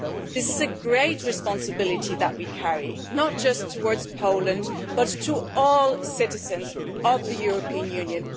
This is a great responsibility that we bear in relation not just to Poland, but to all citizens of the European Union.